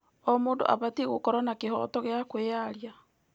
O mũndũ abatiĩ gũkorwo na kĩhooto gĩa kwĩyaria.